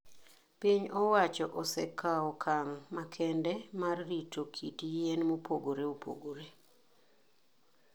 Piny owacho osekawo okang' makende mar rito kit yien mopogore opogore.